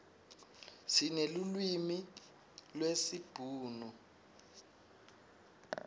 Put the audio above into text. sinelulwimi lesibhunu